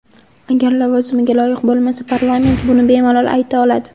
Agar lavozimiga loyiq bo‘lmasa, parlament buni bemalol ayta oladi.